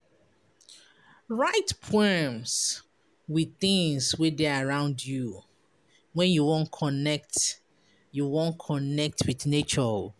Write poems wit tins wey dey around you wen you wan connect you wan connect wit nature.